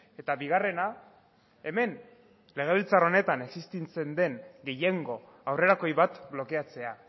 eta bigarrena hemen legebiltzar honetan existitzen den gehiengo aurrerakoi bat blokeatzea